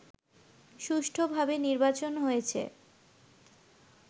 সুষ্ঠুভাবে নির্বাচন হয়েছে